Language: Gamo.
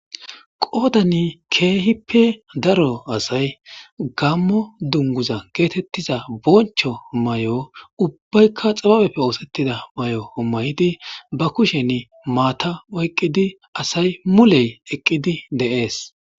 Qoodani keehippe daro asay gammo dunguza geetettiza boncho may'o ubbaykka xababeppe oosettida may'o ommayidi ba kushen maata oyqqidi asay muley eqqidi deees.